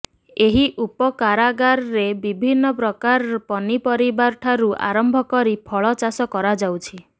ଏହି ଉପ କାରାଗାର ରେ ବିଭିନ୍ ପ୍ରକାର ପନି ପରିବାଠାରୁ ଆରମ୍ଭ କରି ଫଳ ଚାଷ କରାଯାଉଛି